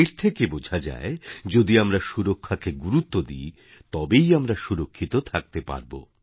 এর থেকে বোঝা যায় যদি আমরা সুরক্ষাকে গুরুত্ব দিই তবেই আমরা সুরক্ষিত থাকতে পারব